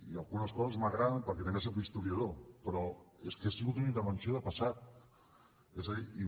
i algunes coses m’agraden perquè també soc historiador però és que ha sigut una intervenció de passat és a dir